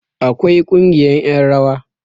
akwai Kungiyar yan rawa